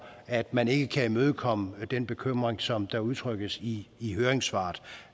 at man ikke kan imødekomme den bekymring som der udtrykkes i i høringssvaret